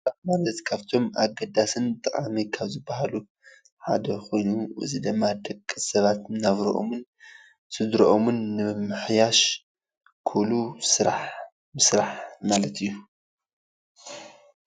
ስራሕ ማለት ካብቶም ኣገዳስን ጠቃምን ካብ ዝበሃሉ ሓደ ኮይኑ እዚ ድማ ደቂ ሰባት ናብረኦምን ስድረኦምን ንምምሕያሽ ክብሉ ስራሕ ምስራሕ ማለት እዩ።